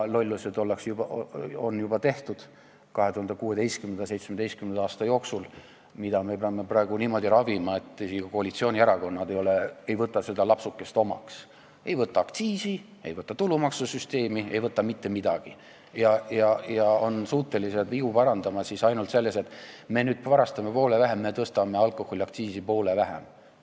Lollused on juba 2016. ja 2017. aasta jooksul tehtud ning me peame praegu neid niimoodi ravima, et isegi koalitsioonierakonnad ei võta seda lapsukest omaks, ei võta omaks aktsiisitõusu, ei võta omaks tulumaksusüsteemi, ei võta mitte midagi omaks, ja on suutelised vigu parandama ainult selliselt, et me nüüd varastame poole vähem, me tõstame alkoholiaktsiisi poole vähem.